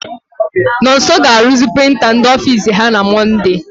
Nonso ga-aruzi prịnta ndị ofiisi ha na Mọnde.